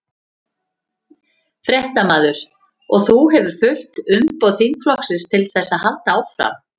Fréttamaður: Og þú hefur fullt umboð þingflokksins til þess að halda áfram?